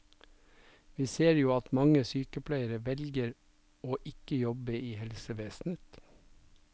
Vi ser jo at mange sykepleiere velger å ikke jobbe i helsevesenet.